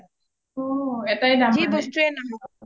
অঅঅ এটাই দাম আৰু